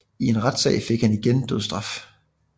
I en senere retssag fik han igen dødsstraf